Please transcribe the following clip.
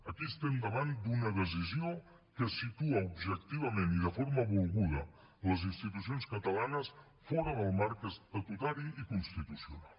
aquí estem davant d’una decisió que situa objectivament i de forma volguda les institucions catalanes fora del marc estatutari i constitucional